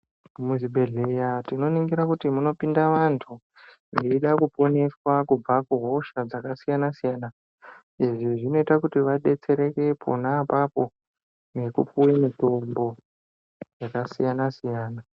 Muzvibhedhleya tinoningira kuti munopinda vantu veida kuponiswa kubva kuhosha dzakasiyana siyana izvi zvinoita kuti vadetsereke pona apapo nekupuwe mutombo yakasiyana siyana.